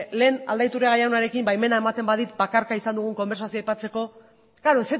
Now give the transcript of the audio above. lehen aldaiturriaga jaunarekin baimena ematen badit bakarka izan dugun elkarrizketa aipatzeko klaro